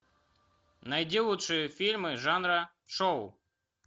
найди лучшие фильмы жанра шоу